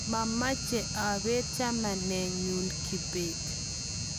mameche abeet chamanenyu Kibet